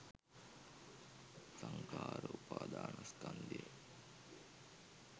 සංඛාර උපාදානස්කන්ධය